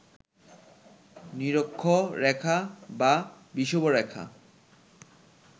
নিরক্ষরেখা বা বিষুবরেখা